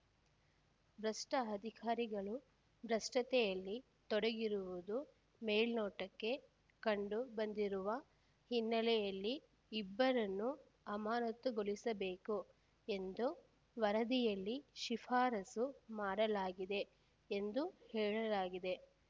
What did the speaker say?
ಭ್ರಷ್ಟ ಅಧಿಕಾರಿಗಳು ಭ್ರಷ್ಟತೆಯಲ್ಲಿ ತೊಡಗಿರುವುದು ಮೇಲ್ನೋಟಕ್ಕೆ ಕಂಡು ಬಂದಿರುವ ಹಿನ್ನೆಲೆಯಲ್ಲಿ ಇಬ್ಬರನ್ನು ಅಮಾನತುಗೊಳಿಸಬೇಕು ಎಂದು ವರದಿಯಲ್ಲಿ ಶಿಫಾರಸು ಮಾಡಲಾಗಿದೆ ಎಂದು ಹೇಳಲಾಗಿದೆ